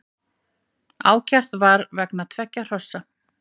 Ákært var vegna tveggja hrossa